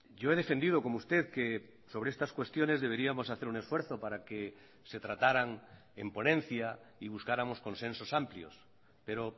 yo he defendido como usted que sobre estas cuestiones deberíamos hacer un esfuerzo para que se trataran en ponencia y buscáramos consensos amplios pero